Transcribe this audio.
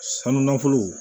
Sanu nafolo